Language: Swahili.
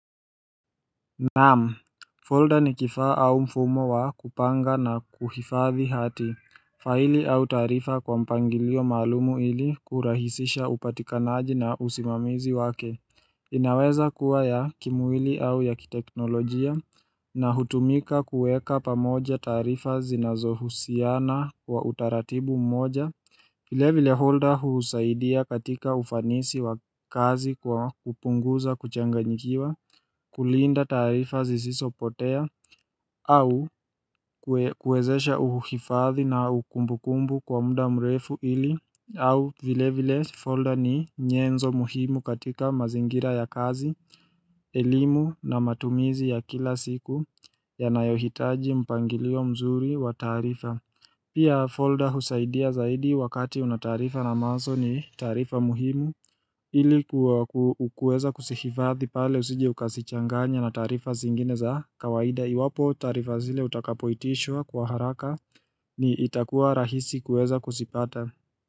Naam, folder ni kifaa au mfumo wa kupanga na kuhifathi hati faili au taarifa kwa mpangilio maalum ili kurahisisha upatikanaji na usimamizi wake inaweza kuwa ya kimwili au ya kiteknolojia na hutumika kuweka pamoja taarifa zinazohusiana kwa utaratibu mmoja vile vile folder husaidia katika ufanisi wa kazi kwa kupunguza kuchanganyikiwa kulinda tarifa zisizopotea au kuwezesha uhifadhi na kumbukumbu kwa muda mrefu ili au vile vile folder ni nyenzo muhimu katika mazingira ya kazi, elimu na matumizi ya kila siku yanayohitaji mpangilio mzuri wa taarifa Pia folder husaidia zaidi wakati unataarifa na mwazo ni tarifa muhimu ilikuwa kuweza kuzihifadhi pale usije ukazichanganya na taarifa zingine za kawaida iwapo taarifa zile utakapoitishwa kwa haraka ni itakuwa rahisi kuweza kuzipata.